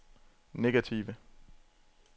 negative